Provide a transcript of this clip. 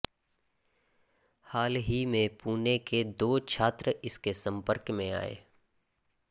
हाल ही में पुणे के दो छात्र इसके संपर्क में आए